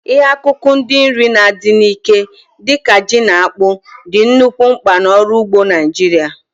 Ihe akụkụ ndị nri na-adị n'ike, dị ka ji na akpụ, dị nnukwu mkpa n'ọrụ ugbo Naijiria.